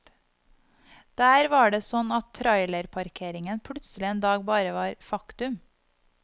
Der var det sånn at trailerparkeringen plutselig en dag bare var faktum.